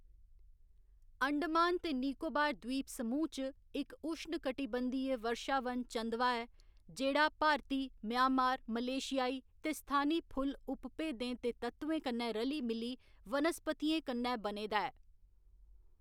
अंडमान ते निकोबार द्वीप समूह् च इक उश्णकटिबंधीय वर्षावन चंदवा ऐ, जेह्‌‌ड़ा भारती, म्यांमार, मलेशियाई ते स्थानी फुल्ल उपभेदें दे तत्वें कन्नै रली मिली वनस्पतियें कन्नै बने दा ऐ।